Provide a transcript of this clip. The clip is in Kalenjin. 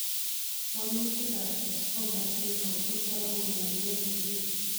Wolutik ap Escobar syndrome kotogu kongeten siget.